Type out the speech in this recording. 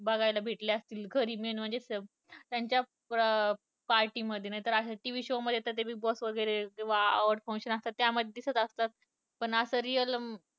बघायला भेटले असतील घरी main म्हणजे त्यांच्या अं party मध्ये नाहीतर TV show शो मध्ये ते बिग बॉस वगैरे odd function मध्ये दिसत असतात पण real बघायला भेटले असतील